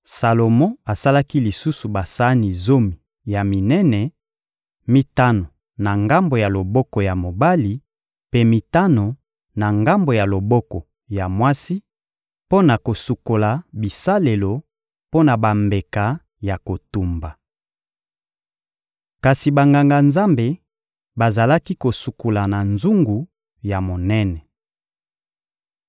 Salomo asalaki lisusu basani zomi ya minene: mitano na ngambo ya loboko ya mobali, mpe mitano, na ngambo ya loboko ya mwasi, mpo na kosukola bisalelo mpo na bambeka ya kotumba. Kasi Banganga-Nzambe bazalaki kosukola na nzungu ya monene.